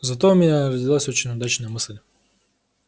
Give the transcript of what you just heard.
зато у меня родилась очень удачная мысль